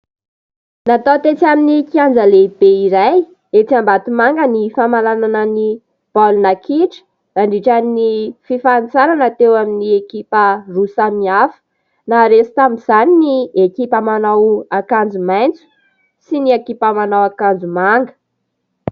Natao tetsy amin'ny kianja lehibe iray etsy Ambatomanga ny famaranana ny baolina kitra nandritra ny fifanintsanana teo amin'ny ekipa roa samy hafa. Naharesy tamin'izany ny ekipa manao akanjo maitso sy ny ekipa manao akanjo manga.